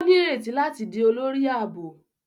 O nireti lati di olórí ààbò